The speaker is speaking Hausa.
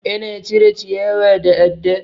Ana cire ciyawa da adda.